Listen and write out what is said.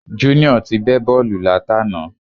Junior ti bẹ́ bọ́ọ̀lù látàná